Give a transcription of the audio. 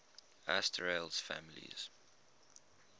asterales families